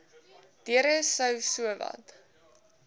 deure sou sowat